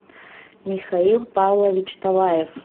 михаил павлович талаев